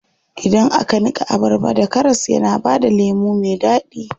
Idan aka niƙa abarba da karas yana bada lemu me daɗi.